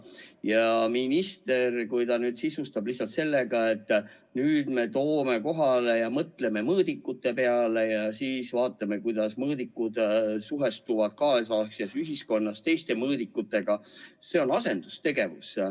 Ja kui minister sisustab seda lihtsalt sellega, et nüüd me mõtleme mõõdikute peale ja siis vaatame, kuidas mõõdikud suhestuvad tänapäeva ühiskonnas teiste mõõdikutega – see on asendustegevus.